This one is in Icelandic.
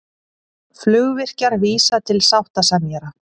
Flugvirkjar vísa til sáttasemjara